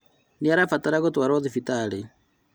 Nĩarabatara gũtwarwo thibitarĩ